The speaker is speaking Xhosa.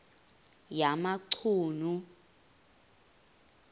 yamachunu